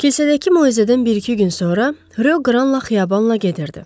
Kilsədəki möcüzədən bir-iki gün sonra Reyoqranla xiyabanla gedirdi.